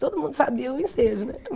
Todo mundo sabia o ensejo, né?